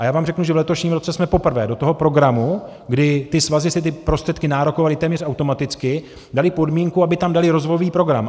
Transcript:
A já vám řeknu, že v letošním roce jsme poprvé do toho programu, kdy ty svazy si ty prostředky nárokovaly téměř automaticky, dali podmínku, aby tam daly rozvojový program.